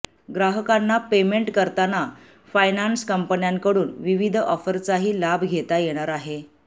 ग्राहकांना पेमेंट करताना फायनान्स कंपन्यांकडून विविध ऑफरचाही लाभ घेता येणार आहे